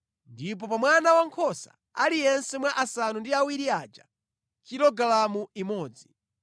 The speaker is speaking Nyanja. Ndipo pa mwana wankhosa aliyense mwa asanu ndi awiri aja, kilogalamu imodzi.